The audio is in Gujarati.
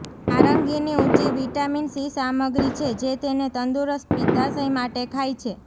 નારંગીની ઊંચી વિટામિન સી સામગ્રી છે જે તેને તંદુરસ્ત પિત્તાશય માટે ખાય છે